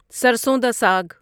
سرسون da ساگ